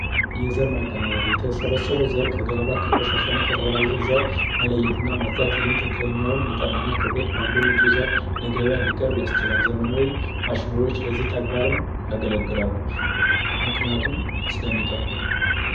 የዘር ማቀነባበሪያ የተሰበሰበው ዘር ከቆሻሻ መለየትና ማጽዳት ይህም ትክክለኛውን መጠንና ክብደት ባለው ንጹህ ዘር ለገበያ እንዲቀርብ ያስችላል ዘመናዊ ማሽኖች ለዚህ ተግባርም ያገለግላሉ ምክንያቱም ስለሚጠቁም።